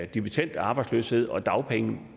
dimittend arbejdsløshed og dagpenge